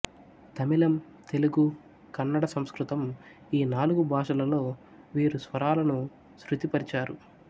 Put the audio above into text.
తమిళం తెలుగు కన్నడ సంస్కృతం ఈ నాలుగు భాషలలో వీరు స్వరాలను శృతి పరిచారు